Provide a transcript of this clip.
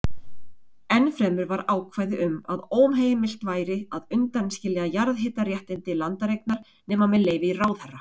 Ennfremur var ákvæði um að óheimilt væri að undanskilja jarðhitaréttindi landareignar nema með leyfi ráðherra.